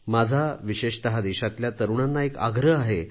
माझा विशेषत देशाच्या तरुणांना एक आग्रह आहे